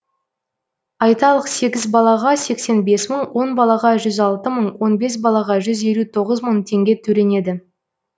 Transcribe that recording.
айталық сегіз балаға сексен бес мың он балаға жүз алты мың он бес балаға жүз елу тоғыз мың теңге төленеді